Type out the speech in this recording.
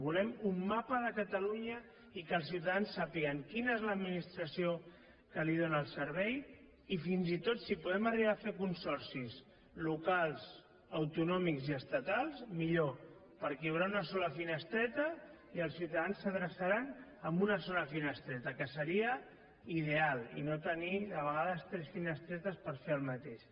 volem un mapa de catalunya i que els ciutadans sàpiguen quina és l’administració que els dóna el servei i fins i tot si podem arribar a fer consorcis locals autonòmics i estatals millor perquè hi haurà una sola finestreta i els ciutadans s’adreçaran a una sola finestreta que seria ideal i no tenir de vegades tres finestretes per fer el mateix